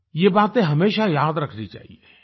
ये बातें हमेशा याद रखनी चाहिए